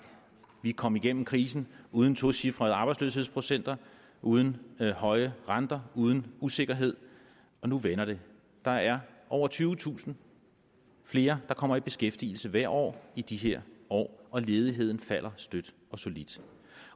vi er kommet igennem krisen uden tocifrede arbejdsløshedsprocenter uden høje renter uden usikkerhed og nu vender det der er over tyvetusind flere der kommer i beskæftigelse hvert år i de her år og ledigheden falder støt og solidt